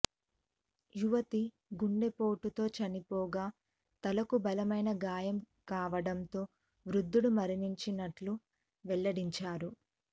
యువతి గుండెపోటుతో చనిపోగా తలకు బలమైన గాయం కావడంతో వృద్ధుడు మరణించినట్లు వెల్లడించారు